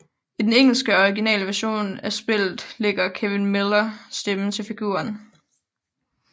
I den engelske og originale version af spillet lægger Kevin Miller stemme til figuren